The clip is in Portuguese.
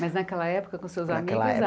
Mas naquela época, com seus amigos, naquela época